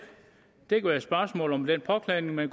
det kan være et spørgsmål om den påklædning man